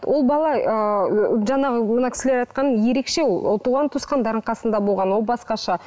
ол бала ы жаңағы мына кісілер айтқан ерекше ол ол туған туыстарының қасында болған ол басқаша